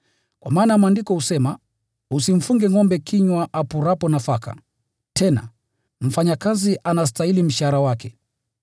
Kwa maana Maandiko husema, “Usimfunge maksai kinywa apurapo nafaka,” tena, “Mfanyakazi anastahili mshahara wake.”